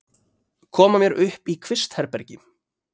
Koma mér upp í kvistherbergi.